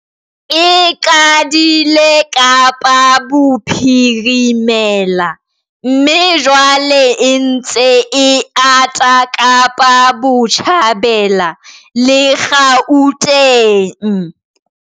E qadile Kapa Bophirimela mme jwale e ntse e ata Kapa Botjhabela le Gauteng.